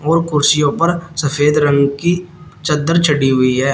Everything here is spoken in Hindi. कुर्सियों पर सफेद रंग की चद्दर चढ़ी हुई है।